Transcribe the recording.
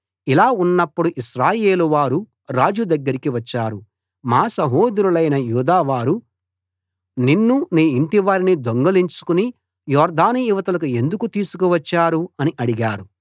ఇలా ఉన్నప్పుడు ఇశ్రాయేలువారు రాజు దగ్గరికి వచ్చారు మా సహోదరులైన యూదావారు నిన్ను నీ ఇంటివారిని దొంగిలించుకుని యొర్దాను ఇవతలకు ఎందుకు తీసుకు వచ్చారు అని అడిగారు